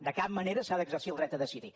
de cap manera s’ha d’exercir el dret a decidir